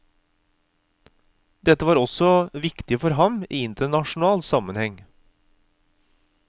Dette var også viktig for ham i internasjonal sammenheng.